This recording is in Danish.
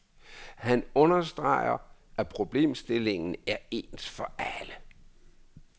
Han understreger, at problemstillingen er ens for alle.